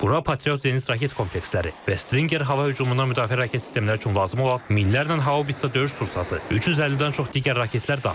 Bura Patriot Zenit raket kompleksləri və Stinger hava hücumundan müdafiə raket sistemləri üçün lazım olan minlərlə haubitsa döyüş sursatı, 350-dən çox digər raketlər daxildir.